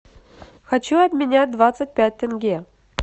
хочу обменять двадцать пять тенге